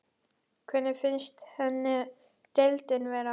Hvernig finnst henni deildin vera?